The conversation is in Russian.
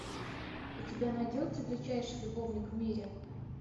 у тебя найдется величайший любовник в мире